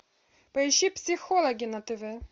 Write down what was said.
поищи психологи на тв